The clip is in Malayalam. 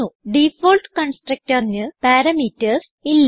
ഡിഫാൾട്ട് constructorന് പാരാമീറ്റർസ് ഇല്ല